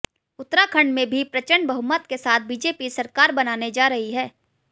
उत्तराखंड में भी प्रचंड बहुमत के साथ बीजेपी सरकार बनाने जा रही है